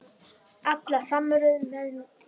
Alla samveru með þér.